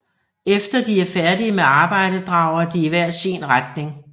Efter de er færdige med arbejdet drager de i hver sin retning